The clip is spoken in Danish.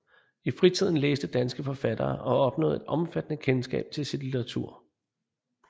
I fritiden læste danske forfattere og opnåede et omfattende kendskab til sit litteratur